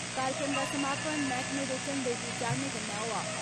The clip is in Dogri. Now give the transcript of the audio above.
कार्यक्रम दा समापन मैहकमे दे झंडे गी चाढ़ने कन्नै होआ।